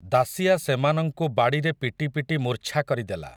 ଦାଶିଆ ସେମାନଙ୍କୁ ବାଡ଼ିରେ ପିଟି ପିଟି ମୂର୍ଚ୍ଛା କରିଦେଲା ।